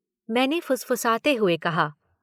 " मैंने फुसफुसाते हुए कहा।